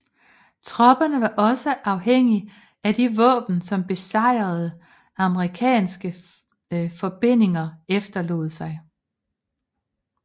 Tropperne var også afhængige af de våben som besejrede amerikanske forbindinger efterlod sig